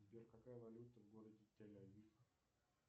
сбер какая валюта в городе тель авив